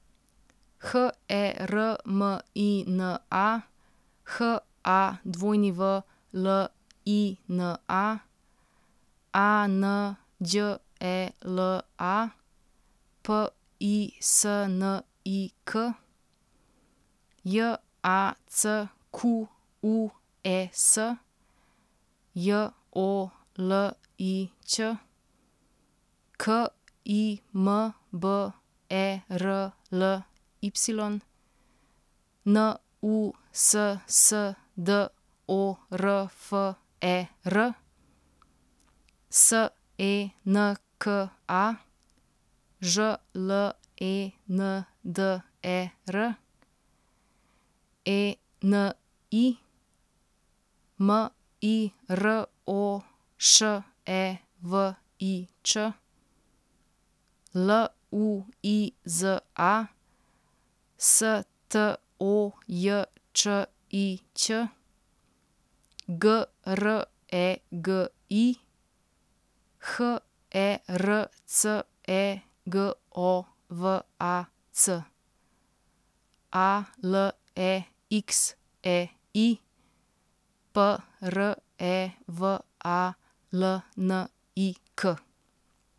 H E R M I N A, H A W L I N A; A N Đ E L A, P I S N I K; J A C Q U E S, J O L I Ć; K I M B E R L Y, N U S S D O R F E R; S E N K A, Ž L E N D E R; E N I, M I R O Š E V I Č; L U I Z A, S T O J Č I Ć; G R E G I, H E R C E G O V A C; A L E X E I, P R E V A L N I K.